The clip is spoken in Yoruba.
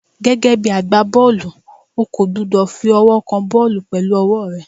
Gẹ́gẹ́ bí agbá bọ́ọ̀lù, o kò gbúdọ̀ fi ọwọ́ kan bọ́ọ̀lù pẹ̀lú ọwọ́ ẹ.